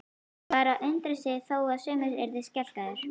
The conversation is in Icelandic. Var að undra þó sumir yrðu skelkaðir?